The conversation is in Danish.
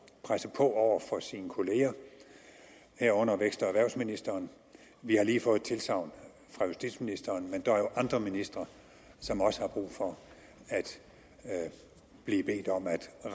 presse på over for sine kollegaer herunder vækst og erhvervsministeren vi har lige fået tilsagn fra justitsministeren men der er jo andre ministre som også har brug for at blive bedt om at